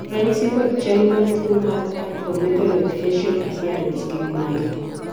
ranyisi kod chal mar tuo mar Acromegaloid facial appearance gin mage?